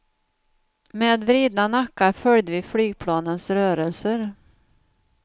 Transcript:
Med vridna nackar följde vi flygplanens rörelser.